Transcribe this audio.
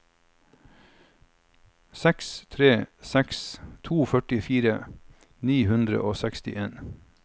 seks tre seks to førtifire ni hundre og sekstien